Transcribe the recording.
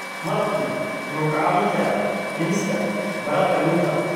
Malabku wuxuu kaa caawin karaa dhimista bararka dhuunta.